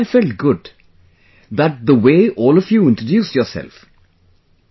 But I felt good that the way all of you introduced yourself...